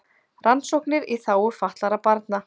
Rannsóknir í þágu fatlaðra barna